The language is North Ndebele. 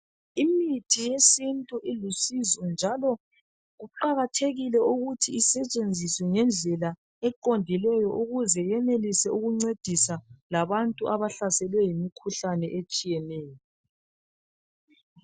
Imithi yesintu ilusizo njalo kuqakathekile ukuthi isetshenziswe ngendlela eqondileyo ukuze yenelise ukuncedisa labantu abahlaselwe yimikhuhlane etshiyeneyo.